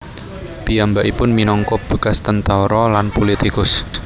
Piyambakipun minangka bekas tentara lan pulitikus